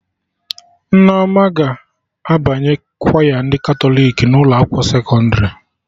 Nneoma ga-abanye kwaya ndị Katọlik na ụlọ akwụkwọ sekọndrị